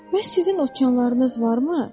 Bəs sizin okeanlarınız varmı?